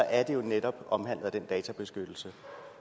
er det jo netop omfattet af den databeskyttelse